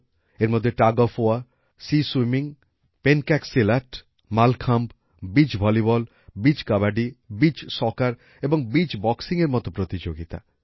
এর মধ্যে ছিল টাগ ওএফ ওয়ার সি স্বিমিং pencak silat mallakhamb beach volleyball beach kabaddi beach সক্সের এবং বিচ বক্সিংয়ের মতো প্রতিযোগিতা